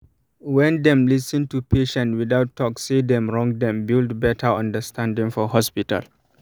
when dem lis ten to patient without talk say dem wrong dem build better understanding for hospital